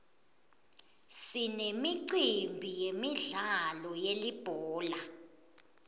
sinemicimbi yemidlalo yelibhola